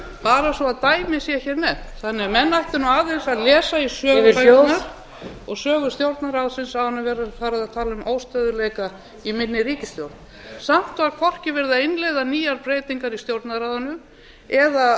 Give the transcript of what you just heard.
bara svo dæmi sé hér nefnt þannig að menn ættu nú aðeins að lesa í söguna gefið hljóð og sögu stjórnarráðsins áður en verður farið að tala um óstöðugleika í minni ríkisstjórn samt var hvorki verið að innleiða nýjar breytingar í stjórnarráðinu eða